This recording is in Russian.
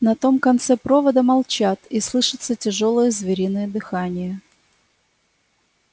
на том конце провода молчат и слышится тяжёлое звериное дыхание